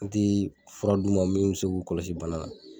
N ti fura d'u ma min se k'u kɔlɔsi bana na.